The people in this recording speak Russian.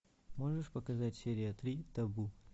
можешь показать серия три табу